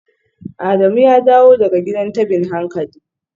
Adamu ya dawo daga gidan tabin hankali?